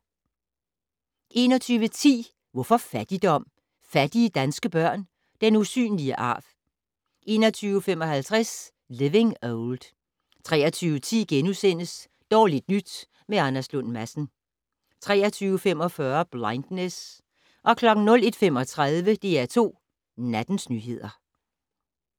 21:10: Hvorfor fattigdom? - Fattige danske børn - den usynlige arv 21:55: Living Old 23:10: Dårligt nyt med Anders Lund Madsen * 23:45: Blindness 01:35: DR2 Nattens nyheder